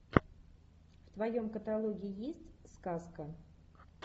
в твоем каталоге есть сказка